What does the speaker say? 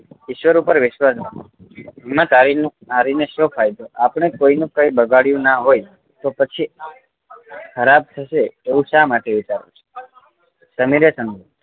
ઈશ્વર ઉપર વિશ્વાસ રાખો હિમ્મત હારી ને શું ફાયદો આપણે કોઈ નું કાંઈ બગાડ્યું ના હોઈ તો પછી ખરાબ થશે એવું શા માટે વિચારો છો સમીરે કહ્યું